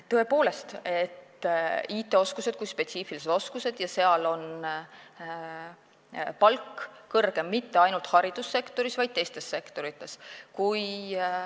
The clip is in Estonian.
Tõepoolest, IT-oskused on spetsiifilised oskused ja sel erialal on palk kõrgem mitte ainult haridussektoris, vaid ka teistes sektorites.